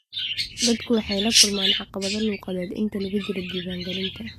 Dadku waxay la kulmaan caqabado luqadeed inta lagu jiro diiwaangelinta.